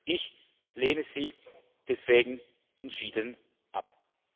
Ich lehne sie deswegen entschieden ab.